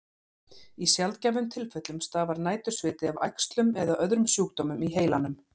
Í sjaldgæfum tilfellum stafar nætursviti af æxlum eða öðrum sjúkdómum í heilanum.